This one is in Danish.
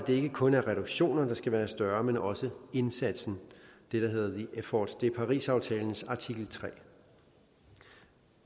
ikke kun er reduktioner der skal være større men også indsatsen det der hedder the effort det er parisaftalens artikel tredje